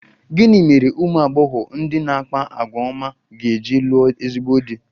Gịnị mere ụmụ agbọghọ ndị na-akpa àgwà ọma ga-eji lụọ ezigbo di?